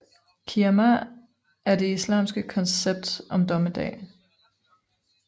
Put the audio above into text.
Qiyâmah er det islamske koncept om dommedag